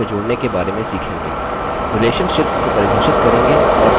relationships को परिभाषित करेंगे और बनायेंगे